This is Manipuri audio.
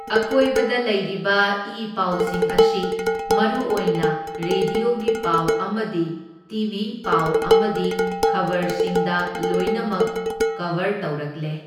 ꯑꯀꯣꯏꯕꯗ ꯂꯩꯔꯤꯕ ꯏ ꯄꯥꯎꯁꯤꯡ ꯑꯁꯤ ꯃꯔꯨꯑꯣꯏꯅ ꯔꯦꯗ꯭ꯌꯣꯒꯤ ꯄꯥꯎ ꯑꯃꯗꯤ ꯇꯤ ꯚꯤ ꯄꯥꯎ ꯑꯃꯗꯤ ꯈꯕꯔꯁꯤꯡꯗ ꯂꯣꯏꯅꯃꯛ ꯀꯕꯔ ꯇꯧꯔꯛꯂꯦ꯫